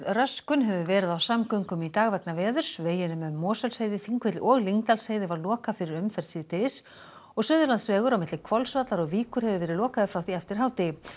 röskun hefur verið á samgöngum í dag vegna veðurs veginum um Mosfellsheiði Þingvelli og Lyngdalsheiði var lokað fyrir umferð síðdegis og Suðurlandsvegur á milli Hvolsvallar og Víkur hefur verið lokaður frá því eftir hádegi